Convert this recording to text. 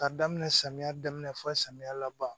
K'a daminɛ samiya daminɛ fɔ samiya laban